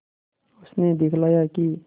उसने दिखलाया कि